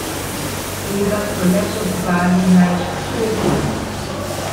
Tega so le pozvali, naj odstopi.